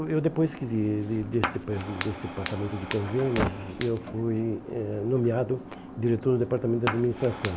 eu depois que desse depar desse departamento de convênios, eu fui eh nomeado diretor do departamento de administração.